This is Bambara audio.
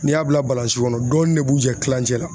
N'i y'a bila kɔnɔ dɔɔni ne b'u jɛ kilancɛ la.